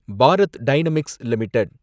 Bharat Dynamics limited